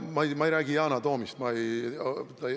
Ma ei räägi Yana Toomist.